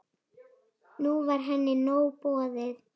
Nú var henni nóg boðið.